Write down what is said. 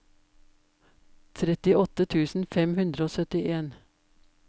trettiåtte tusen fem hundre og syttien